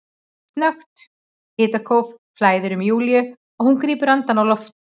Snöggt hitakóf flæðir um Júlíu og hún grípur andann á lofti.